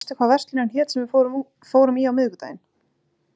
Oddlaug, manstu hvað verslunin hét sem við fórum í á miðvikudaginn?